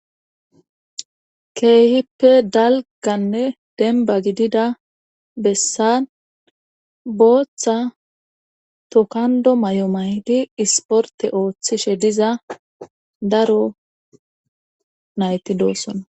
keehippe dalganne denba gidida bessan booththa tokando may7o maydi isporte ooththishe diza daro nayti doossona